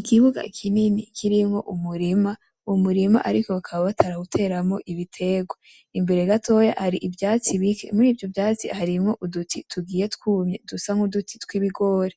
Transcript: Ikibuga kinini kirimwo umurima , umurima ariko bakaba batarawuteramwo ibitegwa imbere gatoya hari ivyatsi bike . Mur’ivyo vyatsi hari uduti tugiye twuma dusa N’uduti tw’ibigori .